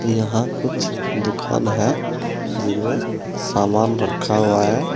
यहां कुछ दुकान है जिनमे सामान रखा हुआ है।